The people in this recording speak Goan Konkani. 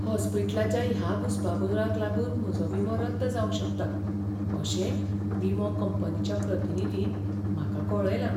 हॉस्पिटलाच्या ह्या घुस्पागोंदळाक लागून म्हजो विमो रद्द जावंक शकता अशें विमो कंपनीच्या प्रतिनिधीन म्हाका कळयलां.